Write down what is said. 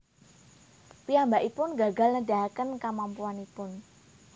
Piyambakipun gagal nedahaken kamampuanipun